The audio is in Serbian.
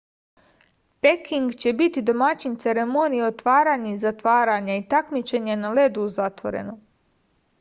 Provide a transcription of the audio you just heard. peking će biti domaćin ceremonije otvaranja i zatvaranja i takmičenja na ledu u zatvorenom